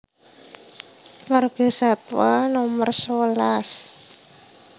Margasatwa Nomer sewelas